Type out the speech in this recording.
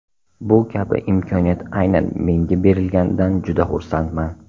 Bu kabi imkoniyat aynan menga berilganidan juda xursandman.